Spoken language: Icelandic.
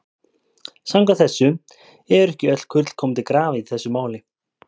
Samkvæmt þessu eru ekki öll kurl komin til grafar í þessu máli.